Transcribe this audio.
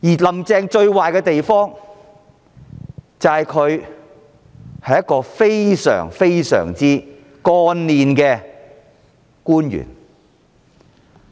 "林鄭"最壞的地方，就是她曾經是一位非常幹練的官員。